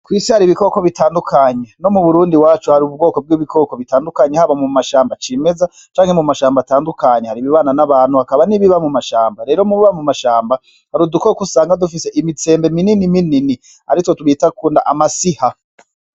Ku isi hari ibikoko bitandukanye no mu Burundi iwacu hari ubwoko bw'ibikoko bitandukanye haba mu mashamba cimeza canke mu mashamba atandukanye hari ibibana n'abantu hakaba n'ibiba mu mashamba rero mubiba mu mashamba hari udukoko usanga dufise imitsembe mininiminini arivyo twita kuno amasiha.